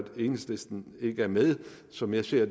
enhedslisten ikke er med som jeg ser